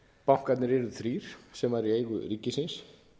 bankarnir yrðu þrír sem væru í eigu ríkisins